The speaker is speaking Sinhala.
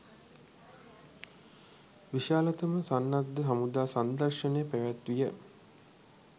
විශාලතම සන්නද්ධ හමුදා සංදර්ශනය පැවැත්විය.